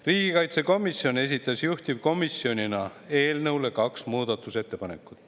Riigikaitsekomisjon esitas juhtivkomisjonina eelnõu kohta kaks muudatusettepanekut.